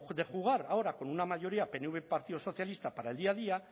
de jugar ahora con una mayoría pnv partido socialista para el día a día